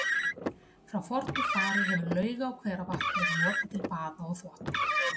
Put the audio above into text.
Frá fornu fari hefur lauga- og hveravatn verið notað til baða og þvotta.